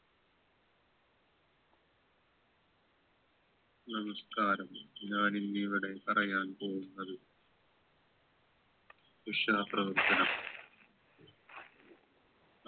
നമസ്കാരം ഞാനിന്നിവിടെ പറയാൻ പോകുന്നത് ഉഷാ പ്രവർത്തനം